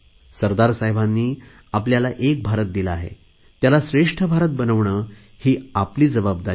सरदार साहेबांनी आपल्याला एक भारत दिला आहे त्याला श्रेष्ठ भारत बनवणे ही आपली जबाबदारी आहे